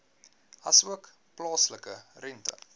asook plaaslike rente